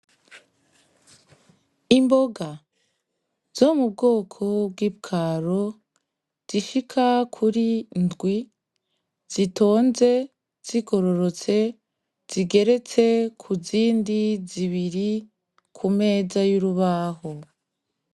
Imboga zo mu bwoko bw'ipwaro, zishika kuri indwi, zitonze zigororotse, zigeretse ku zindi zibiri ku meza y'urubaho.